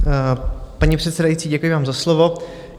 Paní předsedající, děkuji vám za slovo.